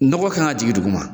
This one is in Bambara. Nɔgɔ kan ka jigi duguma